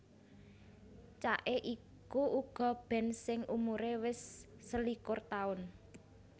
Cake iku uga band sing umuré wis selikur taun